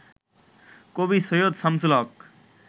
কবি সৈয়দ শামসুল হক